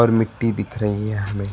मिट्टी दिख रही है हमें।